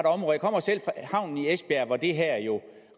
havnen i esbjerg hvor det her jo